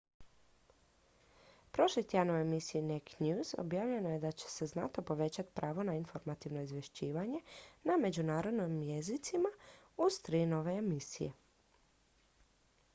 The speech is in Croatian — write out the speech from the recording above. prošli tjedan u emisiji naked news objavljeno je da će znatno povećati pravo na informativno izvješćivanje na međunarodnim jezicima uz tri nove emisije